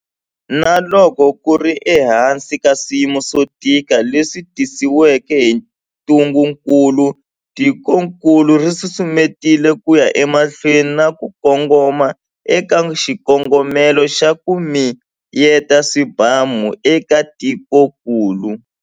Na loko ku ri ehansi ka swiyimo swo tika leswi tisiweke hi ntungukulu, tikokulu ri susumetile ku ya emahlweni na ku kongoma eka xikongomelo xa 'ku miyeta swibamu' eka tikokulu.